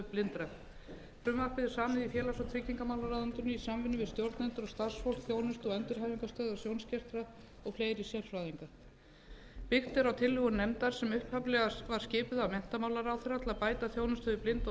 í félags og tryggingamálaráðuneytinu í samvinnu við stjórnendur og starfsfólk þjónustu og endurhæfingarstöðvar sjónskertra og fleiri sérfræðinga byggt er á tillögum nefndar sem upphaflega var skipuð af menntamálaráðherra til að bæta þjónustu við blinda og